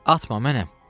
Atma mənəm.